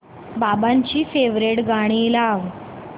बाबांची फेवरिट गाणी लाव